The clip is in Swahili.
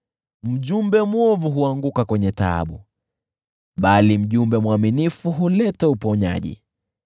Mjumbe mwovu huanguka kwenye taabu, bali mjumbe mwaminifu huleta uponyaji.